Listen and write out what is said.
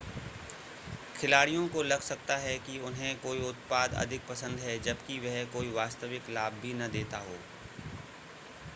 खिलाड़ियों को लग सकता है कि उन्हें कोई उत्पाद अधिक पसंद हैं जबकि वह कोई वास्तविक लाभ भी न देता हो